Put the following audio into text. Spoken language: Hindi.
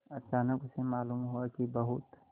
अचानक उसे मालूम हुआ कि बहुत